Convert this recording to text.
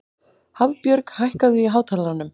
Hafbjörg, hækkaðu í hátalaranum.